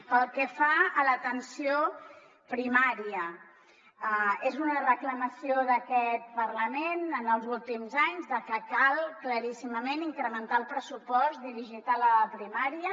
pel que fa a l’atenció primària és una reclamació d’aquest parlament en els últims anys que cal claríssimament incrementar el pressupost dirigit a la primària